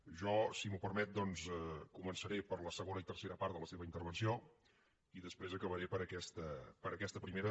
jo si m’ho permet doncs començaré per la segona i tercera part de la seva intervenció i després acabaré per aquesta primera